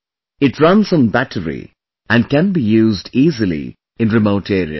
It runs on battery and can be used easily in remote areas